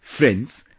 Friends,